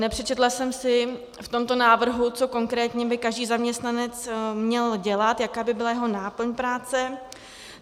Nepřečetla jsem si v tomto návrhu, co konkrétně by každý zaměstnanec měl dělat, jaká by byla jeho náplň práce.